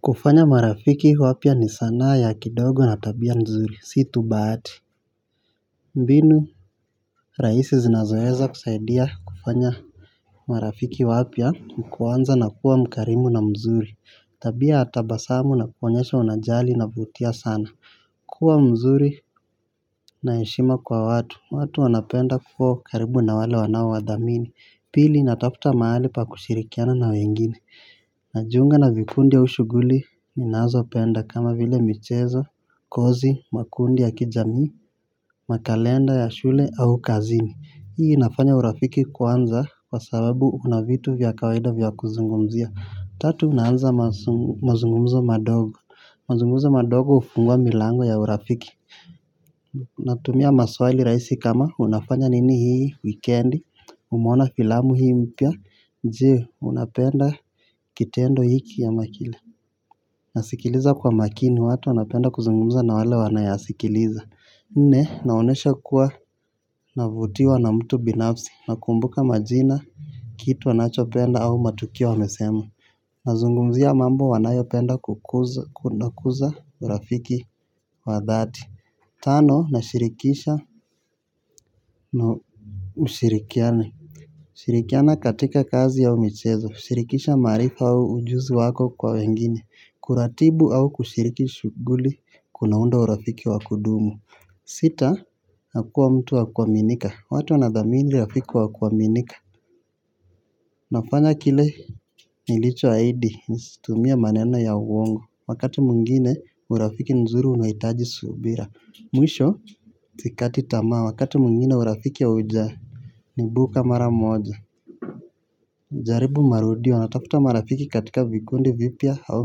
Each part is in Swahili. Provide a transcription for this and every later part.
Kufanya marafiki wapya ni sana ya kidogo na tabia mzuri, situ bahati. Mbinu raisi zinazoeza kusaidia kufanya marafiki wapya nikuanza na kuwa mkarimu na mzuri. Tabia atabasamu na kuwanyesha unajali na vutia sana. Kuwa mzuri naheshima kwa watu, watu wanapenda kuwa karibu na wale wanawadhamini. Pili nataputa maali pa kushirikiana na wengine. Najiunga na vikundi ya ushuguli minazo penda kama vile michezo, kozi, makundi ya kijami, makalenda ya shule au kazini. Hii inafanya urafiki kwanza kwa sababu unavitu vya kawaida vya kuzungumzia. Tatu unanza mazungumza madogo. Mazungumza madogo ufungua milango ya urafiki. Natumia maswali raisi kama unafanya nini hii, weekendi, umeona filamu hii mpya. Jee unapenda kitendo hiki ya ama kile. Nasikiliza kwa makini watu unapenda kuzungumza na wale wanayasikiliza. Nne naonesha kuwa navutiwa na mtu binafsi. Nakumbuka majina kitu wanachopenda au matukio wamesema. Nazungumzia mambo wanayo penda kukuza urafiki wa dhati. Tano na shirikisha na ushirikiani. Shirikiana katika kazi ya michezo. Shirikisha marifa au ujuzi wako kwa wengine. Kuratibu au kushiriki shughuli. Kunaunda urafiki wakudumu. Sita, hakuwa mtu wakuaminika. Watu wanadhamini urafiki wakuaminika. Nafanya kile nilicho haidi. Nisitumia maneno ya uongo. Wakati mungine urafiki nzuri unahitaji subira. Mwisho, zikati tama. Wakati mwingine urafiki uja. Nibu kamara moja. Jaribu marudio natafuta marafiki katika vikundi vipia au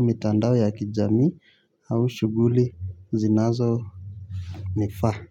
mitandao ya kijami au shuguli zinazo nifaa.